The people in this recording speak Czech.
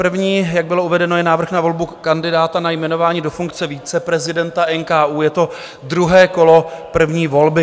První, jak bylo uvedeno, je návrh na volbu kandidáta na jmenování do funkce viceprezidenta NKÚ, je to druhé kolo první volby.